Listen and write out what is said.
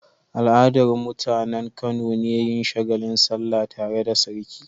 Al'adar mutAnan Kano ne yin shagalin sallah tare da sarki